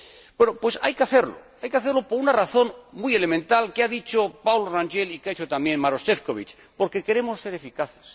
Bueno, pues hay que hacerlo. Hay que hacerlo por una razón muy elemental que ha dicho Paulo Rangel y que ha dicho también Maroš Šefčovič porque queremos ser eficaces.